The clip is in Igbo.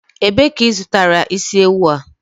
Ebee ka ị zụtara isi ewu a?